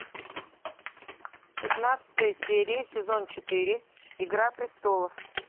пятнадцатая серия сезон четыре игра престолов